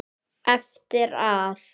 Eftir að